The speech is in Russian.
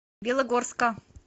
белогорска